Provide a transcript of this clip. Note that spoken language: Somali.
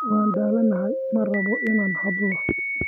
Waan daalanahay ma rabo inaan hadlo.